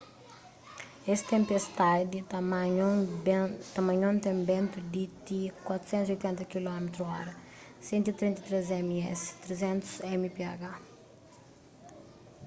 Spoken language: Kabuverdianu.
es tenpistadi tamanhon ten bentu di ti 480 km/h 133 m/s; 300 mph